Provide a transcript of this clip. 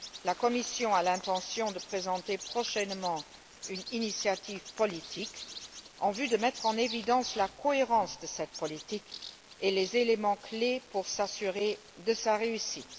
La Commission a l'intention de présenter prochainement une initiative politique en vue de mettre en évidence la cohérence de cette politique et les éléments clés pour s'assurer de sa réussite.